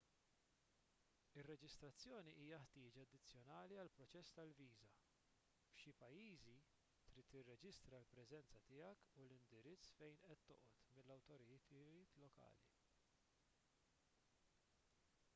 ir-reġistrazzjoni hija ħtieġa addizzjonali għall-proċess tal-viża f'xi pajjiżi trid tirreġistra l-preżenza tiegħek u l-indirizz fejn qed toqgħod mal-awtoritajiet lokali